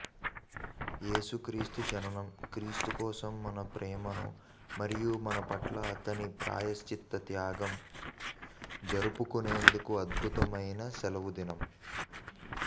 యేసుక్రీస్తు జననం క్రీస్తు కోసం మన ప్రేమను మరియు మనపట్ల అతని ప్రాయశ్చిత్త త్యాగం జరుపుకునేందుకు అద్భుతమైన సెలవుదినం